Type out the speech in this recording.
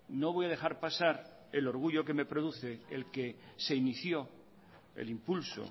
no voy a dejar pasar el orgullo que me produce el que se inició el impulso